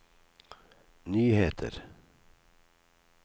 nyheter